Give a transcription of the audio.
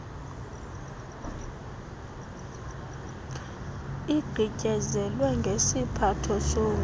igqityezelwe ngesiphatho somthi